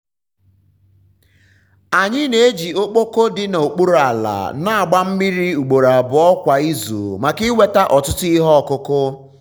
anyị na-eji ọkpọkọ dị n'okpuru ala na-agba mmiri ugboro abụọ kwa izu maka inweta um ọtụtụ ihe ọkụkụ.